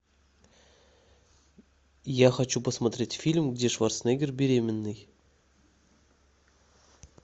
я хочу посмотреть фильм где шварценеггер беременный